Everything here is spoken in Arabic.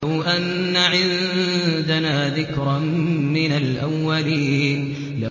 لَوْ أَنَّ عِندَنَا ذِكْرًا مِّنَ الْأَوَّلِينَ